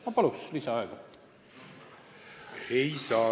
Ma palun lisaaega!